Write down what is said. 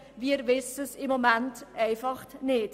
Wir wissen es im Moment einfach nicht.